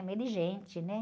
No meio de gente, né?